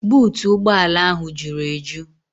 Buutu ụgbọala ahụ juru eju.